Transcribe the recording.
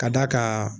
Ka d'a kan